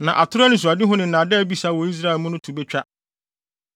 Na atoro anisoadehu ne nnaadaa abisa wɔ Israelfo mu no to betwa.